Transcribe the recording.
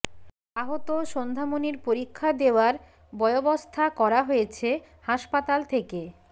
আহত সন্ধ্যামণির পরীক্ষা দেওয়ার ব্য়বস্থা করা হয়েছে হাসপাতাল থেকে